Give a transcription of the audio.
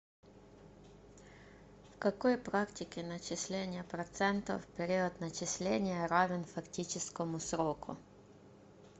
в какой практике начисления процентов период начисления равен фактическому сроку